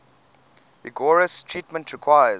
rigorous treatment requires